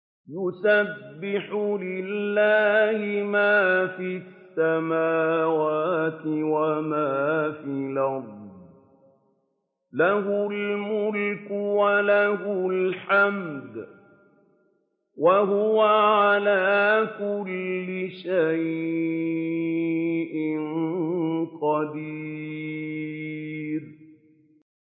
يُسَبِّحُ لِلَّهِ مَا فِي السَّمَاوَاتِ وَمَا فِي الْأَرْضِ ۖ لَهُ الْمُلْكُ وَلَهُ الْحَمْدُ ۖ وَهُوَ عَلَىٰ كُلِّ شَيْءٍ قَدِيرٌ